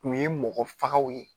Kun ye mɔgɔ fagaw ye